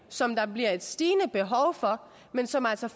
som der bliver stigende behov for men som altså